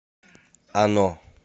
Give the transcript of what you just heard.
оно